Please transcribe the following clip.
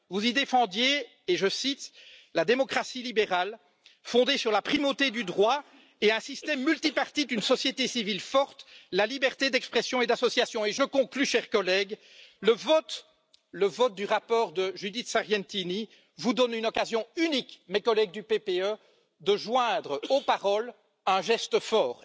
Vous y défendiez, je cite, la démocratie libérale, fondée sur la primauté du droit et un système multipartite, une société civile forte, la liberté d'expression et d'association et je conclus, chers collègues, le vote du rapport de Judith Sargentini vous donne une occasion unique, mes collègues du PPE, de joindre aux paroles un geste fort.